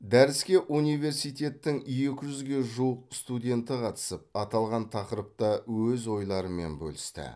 дәріске университеттің екі жүзге жуық студенті қатысып аталған тақырыпта өз ойларымен бөлісті